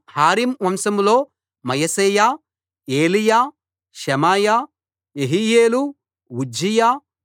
హారీం వంశంలో మయశేయా ఏలీయా షెమయా యెహీయేలు ఉజ్జియా